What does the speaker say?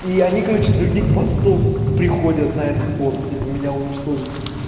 и они короче с других постов приходят на этот пост типа меня уничтожить